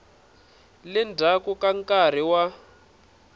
le ndzhaku ka nkarhi wa